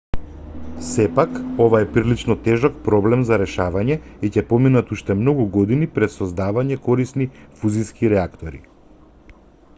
сепак ова е прилично тежок проблем за решавање и ќе поминат уште многу години пред создавањето корисни фузиски реактори